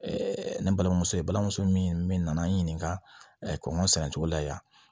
ne balimamuso i balimamuso min min nana n ɲininka kɔɲɔ sɛnɛ cogo la yan